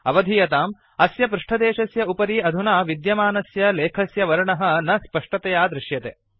अवधीयताम् अस्य पृष्टदेशस्य उपरि अधुना विद्यमानस्य लेखस्य वर्णः न स्पष्टतया दृश्यते